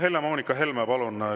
Helle-Moonika Helme, palun!